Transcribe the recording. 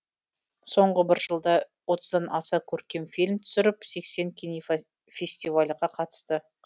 соңғы бір жылда отыздан аса көркем фильм түсіріп сексен кинофафестивальге қатысты